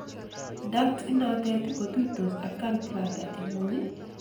duct inotet kotuitos ak gallbladder ingung ak koyet ak abutanikguk chemengech